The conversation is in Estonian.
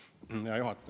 Hea juhataja!